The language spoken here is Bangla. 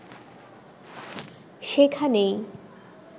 সেখানেই